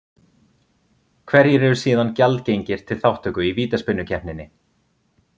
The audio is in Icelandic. Hverjir eru síðan gjaldgengir til þátttöku í vítaspyrnukeppninni?